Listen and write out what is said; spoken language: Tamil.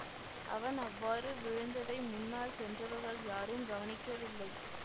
அவன் அவ்வாறு விழுந்ததை முன்னால் சென்றவர்கள் யாரும் கவனிக்கவில்லை